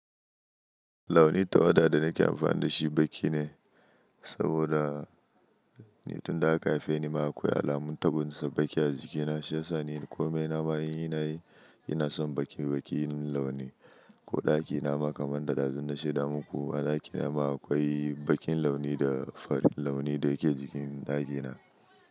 Launin tawada da nake amfana da shi baƙi ne, saboda tun da aka haife ni ma akwai alamun tabonsa baƙi a jikina, shi yasa ne komai na ma in nayi, ina son baƙi-baƙin launi. Ko ɗaki nama kamar da ɗazun na shaida muku a ɗakin nama akwai baƙin launi da fari launi da yake jikin ɗakina.